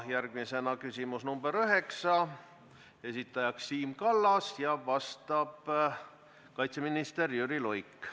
Järgmisena küsimus nr 9, esitaja on Siim Kallas ja vastab kaitseminister Jüri Luik.